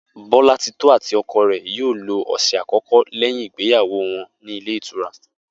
Bó̩látitó̩ àti o̩ko̩ rè̩ yóò lo ò̩sè̩ àkó̩kó̩ léyìn ìgbéyàwó wo̩n nílé ìtura